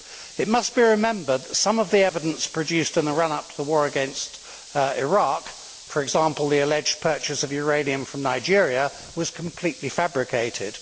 It must be remembered that some of the evidence produced in the run up to the war against Iraq, for example the alleged purchase of uranium from Nigeria, was completely fabricated.